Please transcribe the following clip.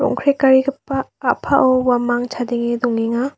rong·krekarigipa a·pao uamang chadenge dongenga.